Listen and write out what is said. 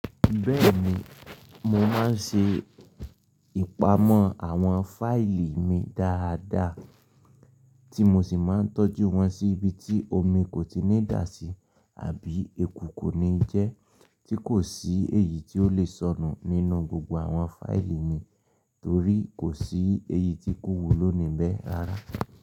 Bẹ́ẹ̀ni, mo máa ń ṣe ìpamọ́ àwọn fáìlì mi dáadáa tí mo sì máa ń tọ́jú wọn sí ibi tí omi kò tíì ní dà sí àbí eku kò ní jẹ́, tí kò sí èyí tí ó lè sọnù nínú gbogbo àwọn fáìlì mi torí kò sí èyí tí ikú wò ló níbẹ̀ rárá.